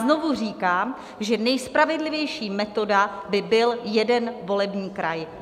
Znovu říkám, že nejspravedlivější metoda by byl jeden volební kraj.